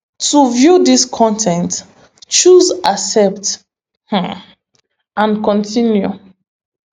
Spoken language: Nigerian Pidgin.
to view dis con ten t choose accept um and continue